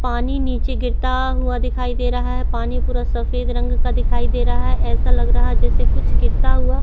पानी नीला गिरता हुआ दिखाई दे रहा है पानी पूरा सफेद रंग का दिखाई दे रहा है ऐसा लग रहा है जैसे कुछ गिराता हुआ--